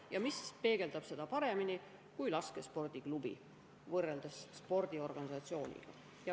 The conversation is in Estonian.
" Ja mis peegeldaks seda ühingut paremini kui "laskespordiklubi", võrreldes "spordiorganisatsiooniga".